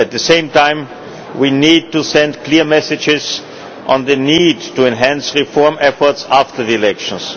At the same time, we need to send clear messages on the need to enhance reform efforts after the elections.